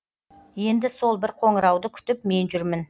енді сол бір қоңырауды күтіп мен жүрмін